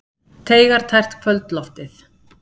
Teygar tært kvöldloftið.